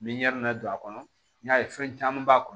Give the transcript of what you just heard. Ni don a kɔnɔ n'i y'a ye fɛn caman b'a kɔnɔ